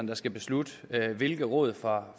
der skal beslutte hvilke råd fra